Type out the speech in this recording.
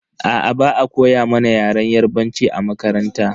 Aa, ba'a koya mana yaren yarbanci a makaranta.